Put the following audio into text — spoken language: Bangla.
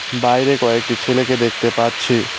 বাইরে কয়েকটি ছেলেকে দেখতে পাচ্ছি।